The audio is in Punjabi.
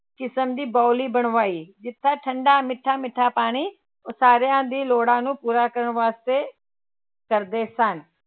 ਕਿਸ਼ਮ ਦੀ ਬਾਉਲੀ ਬਣਵਾਈ, ਜਿੱਥੇ ਠੰਢਾ ਮਿੱਠਾ ਮਿੱਠਾ ਪਾਣੀ ਸਾਰਿਆਂ ਦੀ ਲੋੜ੍ਹਾਂ ਨੂੰ ਪੂਰਾ ਕਰਨ ਵਾਸਤੇ ਕਰਦੇ ਸਨ।